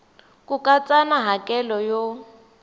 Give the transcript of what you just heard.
ku katsa na hakelo yo